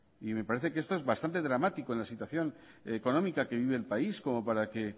y me parece que esto es bastante dramático en la situación económica que vive el país como para que